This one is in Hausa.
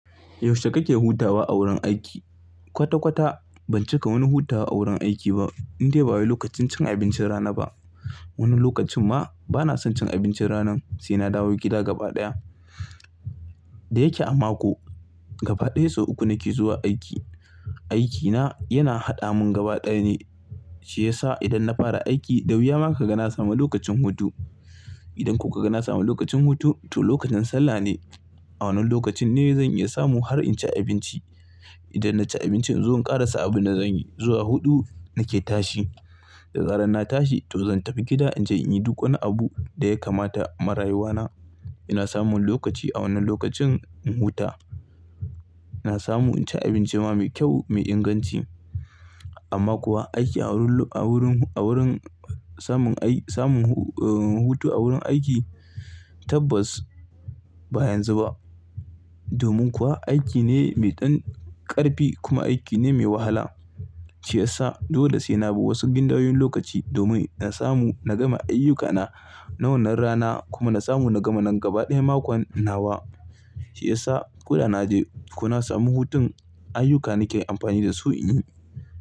Yaushe kake hutawa a wurin aiki? Kwata kwata ban cika wani hutawa a wurin aiki ba in dai ba wai lokacin cin abincin rana ba. Wani lokacin ma bana son cin abincin ranan sai na dawo gida gaba ɗaya. Da yake a mako gaba ɗaya sau uku nake zuwa aiki. Aikina yana haɗa mun gaba ɗaya ne shi yasa idan na fara aiki, da wuya ma ka ga na samu lokacin hutu. Idan kuka ga na samu lokacin hutu, to lokacin sallah ne. A wannan lokacin ne zan iya samu har in ci abinci. Idan na ci abinci in zo in ƙarasa abin da zan yi. Zuwa huɗu nake tashi. Da zarar na tashi to zan tafi gida inji in yi duk wani abu da ya kamata ma rayuwa na. Ina samun lokaci a wannan lokacin in huta. Na samu in ci abinci ma mai kyau mai inganci. Amma kuwa aiki a wurin, a wurin, samun, samun, hutu a wurin aiki tabbas ba yanzu ba. Domin kuwa aikine mai ɗan ƙarfi kuma aikine mai wahala. Shi yasa dole sai na bi wasu gindayen lokaci domin in samu na gama ayyukana na wannan rana kuma na samu na gama na gaba ɗaya makon nawa. Shi yasa ko da na je ko na samu hutun ayyuka nake amfani da su in yi.